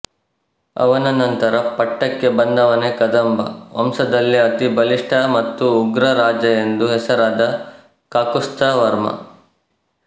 ಅವನ ನಂತರ ಪಟ್ಟಕ್ಕೆ ಬಂದವನೇ ಕದಂಬ ವಂಶದಲ್ಲೇ ಅತಿ ಬಲಿಷ್ಟ ಮತ್ತು ಉಗ್ರ ರಾಜ ಎಂದು ಹೆಸರಾದ ಕಾಕುಸ್ಥವರ್ಮ